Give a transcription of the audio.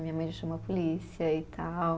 Minha mãe já chamou a polícia e tal.